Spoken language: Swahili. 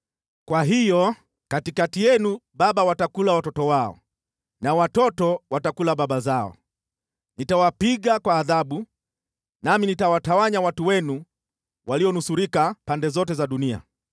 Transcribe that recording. Kwa hiyo katikati yenu baba watakula watoto wao na watoto watakula baba zao. Nitawapiga kwa adhabu, nami nitawatawanya watu wenu walionusurika pande zote za dunia.